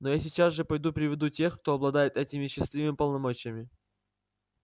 но я сейчас же пойду приведу тех кто обладает этими счастливыми полномочиями